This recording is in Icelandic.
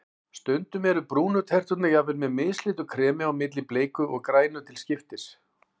Stundum eru brúnu terturnar jafnvel með mislitu kremi á milli, bleiku og grænu til skiptis.